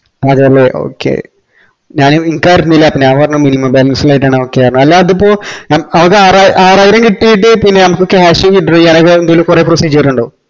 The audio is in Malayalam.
അതെല്ലേ okay ഞാന് എനിക്കറിഞ്ഞീല്ല അപ്പൊ ഞാൻ പറഞ്ഞ് minimum balance ഇല്ലായിട്ടാന്പറഞ്ഞ okay അല്ല അതിപ്പോ ആറായിരം കിട്ടീട്ട് പിന്നെ മ്മക്ക് cash withdraw ചെയ്യാന് കൊറേ procedure ഇണ്ടോ